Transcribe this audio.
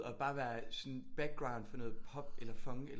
Og bare være sådan background for noget pop eller funk eller